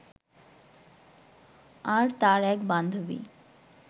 আর তার এক বান্ধবী